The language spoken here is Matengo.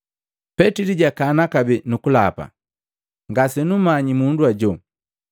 Petili jakana kabee kukulapa, “Ngasenummanyi mundu ajo.”